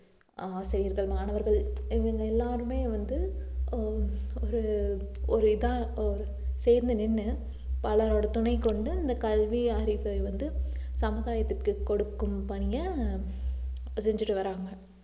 ஆஹ் ஆசிரியர்கள் மாணவர்கள் இவங்க எல்லாருமே வந்து அஹ் ஒரு ஒரு இதா ஒரு சேர்ந்து நின்னு பலரோட துணை கொண்டு அந்த கல்வி அறிவை வந்து சமுதாயத்துக்கு கொடுக்கும் பணிய செஞ்சுட்டு வர்றாங்க